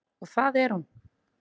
Og það er hún.